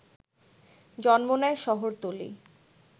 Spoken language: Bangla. জন্ম নেয় শহরতলী